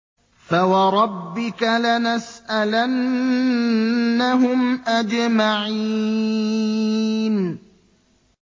فَوَرَبِّكَ لَنَسْأَلَنَّهُمْ أَجْمَعِينَ